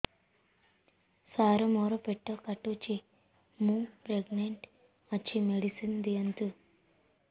ସାର ମୋର ପେଟ କାଟୁଚି ମୁ ପ୍ରେଗନାଂଟ ଅଛି ମେଡିସିନ ଦିଅନ୍ତୁ